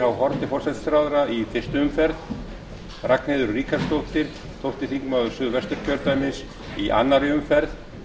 h haarde forsætisráðherra í fyrstu umferð ragnheiður ríkharðsdóttir tólf þingmenn a í annarri umferð